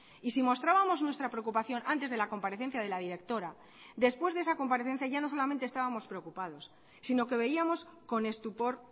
y si mostrábamos nuestra preocupación antes de la comparecencia de la directora después de esa comparecencia ya no solamente estábamos preocupados sino que veíamos con estupor